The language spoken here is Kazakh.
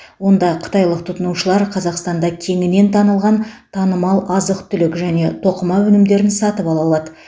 онда қытайлық тұтынушылар қазақстанда кеңінен танылған танымал азық түлік және тоқыма өнімдерін сатып ала алады